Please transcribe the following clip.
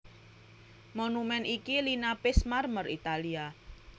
Monumèn iki linapis marmer Italia